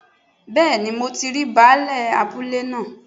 Bẹ́ẹ̀ni mo ti rí baálè abúlé náà